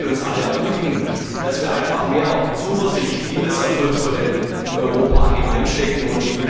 Ich möchte uns alle ermutigen, dass wir einfach mehr Zuversicht in das Erfolgsmodell Europa haben.